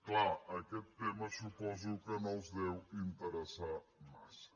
clar aquest tema suposo que no els deu interessar massa